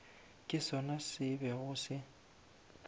ke sona se bego se